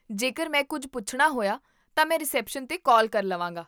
ਜੇਕਰ ਮੈਂ ਕੁੱਝ ਪੁੱਛਣਾ ਹੋਇਆ, ਤਾਂ ਮੈਂ ਰਿਸੈਪਸ਼ਨ 'ਤੇ ਕਾਲ ਕਰ ਲਵਾਂਗਾ